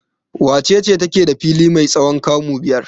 Wace ce take da fili mai tsawon kamu biyar?